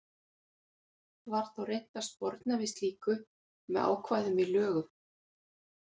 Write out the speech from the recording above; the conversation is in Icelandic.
Var þó reynt að sporna við slíku með ákvæðum í lögum.